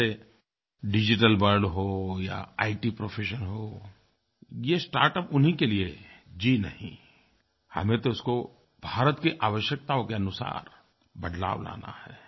जैसे digital world हो या इत प्रोफेशन हो ये स्टार्टअप उन्हीं के लिए है जी नहीं हमें तो उसको भारत की आवश्यकताओं के अनुसार बदलाव लाना है